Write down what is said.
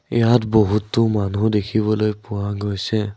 ইয়াত বহুতো মানুহ দেখিবলৈ পোৱা গৈছে।